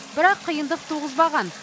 бірақ қиындық туғызбаған